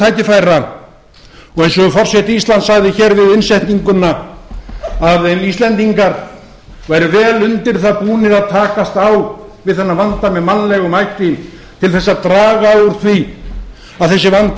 tækifæra og eins og forseti íslands sagði hér við innsetninguna að ef íslendingar væru vel undir það búnir að takast á við þennan vanda með mannlegum hætti til þess að draga úr því að þessi vandi